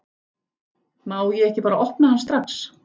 Má ég ekki bara opna hann strax?